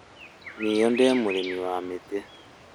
Nĩ ndĩ mũrĩmi wa mĩtĩ